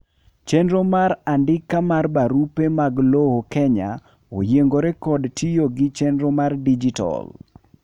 chenro mar andika mar barupe mag lowo Kenya oyiengore kod tiyo gi chenro mar dijital